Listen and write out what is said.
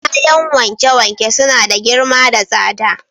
Kayan wanke-wanke suna da girma da tsada.